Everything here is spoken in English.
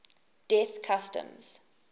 death customs